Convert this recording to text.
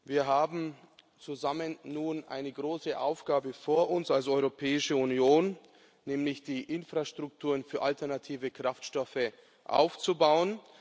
Wir haben zusammen nun eine große Aufgabe vor uns als Europäische Union, nämlich die Infrastrukturen für alternative Kraftstoffe aufzubauen.